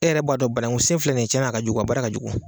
E yɛrɛ b'a dɔ banaŋu sen filɛ nin ye tiɲɛna a ka jugu a baara ka jugu.